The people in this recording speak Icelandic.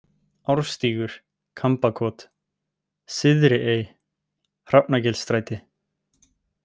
Árstígur, Kambakot, Syðri-Ey, Hrafnagilsstræti